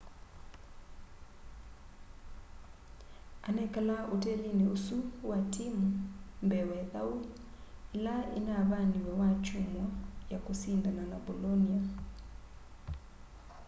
anekalaa otelini osu wa timu mbee wa ithau ila inavaniiwe wakyumwa ya kusindana na bolonia